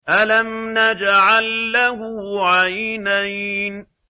أَلَمْ نَجْعَل لَّهُ عَيْنَيْنِ